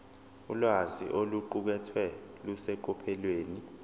ulwazi oluqukethwe luseqophelweni